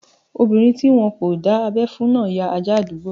Obinrin ti wọn kò dá abẹ́ fún náà ti ya ajá àdúgbò